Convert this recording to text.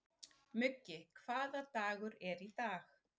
Muggi, hvaða dagur er í dag?